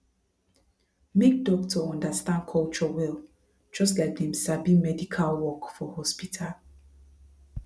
make doctor understand culture well just like dem sabi medical work for hospital